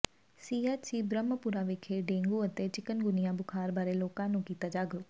ਸੀ H C Brahmpura ਵਿਖੇ dengue ਤੇ chikungunya ਬੁਖਾਰ ਬਾਰੇ ਲੋਕਾਂ ਨੂੰ ਕੀਤਾ ਜਾਗਰੂਕ